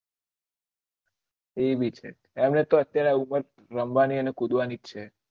એ ભી છે એમ એની ઉમર રમવાની અને કુદવાની છે